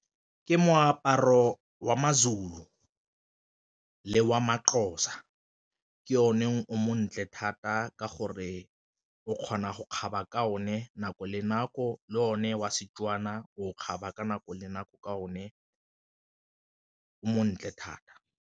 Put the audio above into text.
Ke moaparo wa maZulu le wa maXhosa ke o ne o montle thata ka gore o kgona go kgaba ka one nako le nako, le one wa Setswana o kgaba ka nako le nako ka o ne o montle thata.